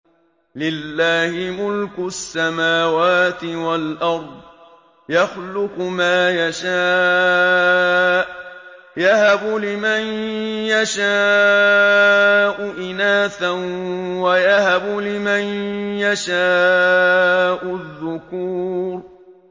لِّلَّهِ مُلْكُ السَّمَاوَاتِ وَالْأَرْضِ ۚ يَخْلُقُ مَا يَشَاءُ ۚ يَهَبُ لِمَن يَشَاءُ إِنَاثًا وَيَهَبُ لِمَن يَشَاءُ الذُّكُورَ